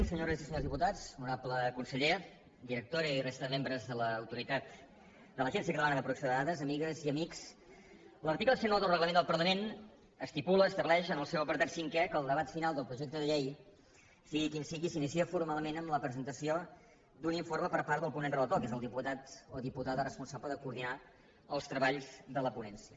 senyores i senyors diputats honorable conseller directora i resta de membres de l’agència catalana de protecció de dades amigues i amics l’article cent i nou del reglament del parlament estipula estableix en el seu apartat cinquè que el debat final del projecte de llei sigui quin sigui s’inicia formalment amb la presentació d’un informe per part del ponent relator que és el diputat o diputada responsable de coordinar els treballs de la ponència